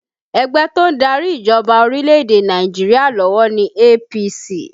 Ẹgbẹ́ to ń darí ìjọba orílẹ̀ èdè Nàìjíríà lọ́wọ́ ní APC